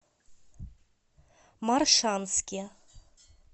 моршанске